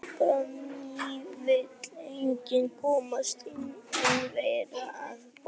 Albanía vill einnig komast inn, en verður að bíða.